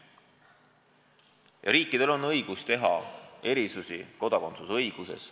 Ja riikidel on õigus teha erisusi kodakondsusõiguses.